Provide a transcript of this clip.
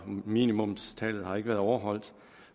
minimumstallet har ikke været overholdt